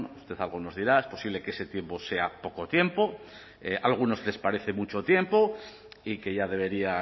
usted algo nos dirá es posible que ese tiempo sea poco tiempo a algunos les parece mucho tiempo y que ya debería